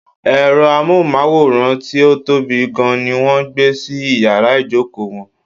Ẹ̀rọ amóhùnmáwòrán tí ó tóbi gan ní wọ́n gbé sí iyàrá ìjókò wọn.